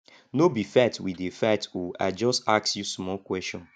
no be fight we dey fight oo i just ask you small question